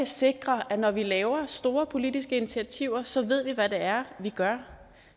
sikre at når vi laver store politiske initiativer så ved vi hvad det er vi gør